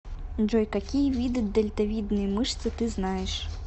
джой какие виды дельтовидные мышцы ты знаешь